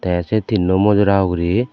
te se tinno mojora ugurey.